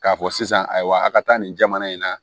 K'a fɔ sisan ayiwa a ka taa nin jamana in na